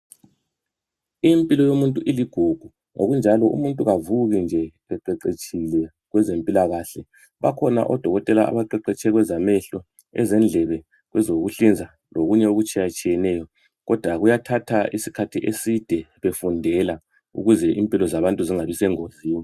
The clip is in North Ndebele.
Impilo yomuntu iligugu. Ngokunjalo umuntu kavuke nje eqeqetshile kwezempilakahle, bakhona odokotela abaqeqetshe kwezamehlo, ezendlebe kwezokuhlinza lokunye okutshiyatshiyeneyo. Kodwa kuyathatha isikhathi eside befundela ukuze impilo zabantu zingabi sengozini.